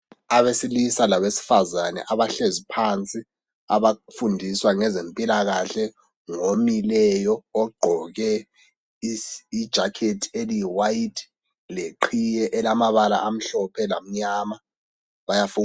Abesilisa labesifazane abahlezi phansi ,abafundiswa ngeze mpilakahle ngomileyo ogqoke ijakhethi eliyiwayithi leqhiye elamabala amhlophe lamyama bayafun.